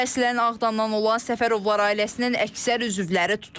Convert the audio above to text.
Əslən Ağdamdan olan Səfərovlar ailəsinin əksər üzvləri tutulub.